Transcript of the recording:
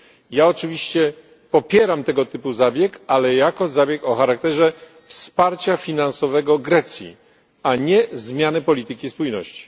Ja oczywiście popieram tego typu zabieg, ale jako zabieg o charakterze wsparcia finansowego Grecji, a nie zmianę polityki spójności.